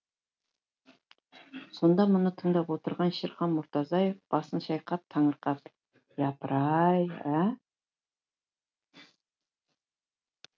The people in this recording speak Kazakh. сонда мұны тыңдап отырған шерхан мұртазаев басын шайқап таңырқап япырай ә